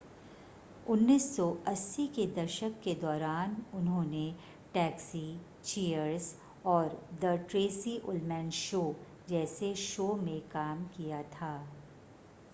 1980 के दशक के दौरान उन्होंने टैक्सी चीयर्स और द ट्रेसी उल्मैन शो जैसे शो में काम किया था